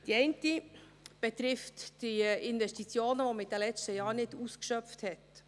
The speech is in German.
Die eine betrifft die Investitionen, welche wir in den letzten Jahren nicht ausschöpften.